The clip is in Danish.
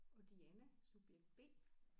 Og Diane subjekt B